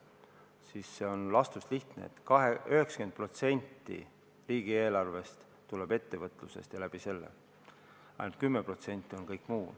Siin on vastus lihtne: 90% riigieelarve rahast tuleb ettevõtlusest, ainult 10% on kõik muu.